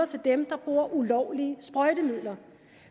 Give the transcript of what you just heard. til dem der bruger ulovlige sprøjtemidler